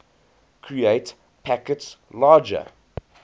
create packets larger